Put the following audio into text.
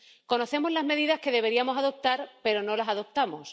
Conocemos las medidas que deberíamos adoptar, pero no las adoptamos.